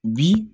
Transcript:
Bi